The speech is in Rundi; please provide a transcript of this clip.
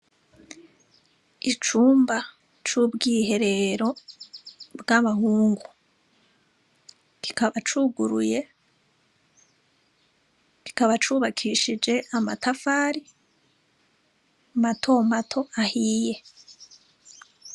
Icumba cubwiherero bwabahungu, kikaba cuguruye kikaba cubakishije amatafari mato mato ahiye.